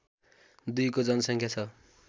२ को जनसङ्ख्या छ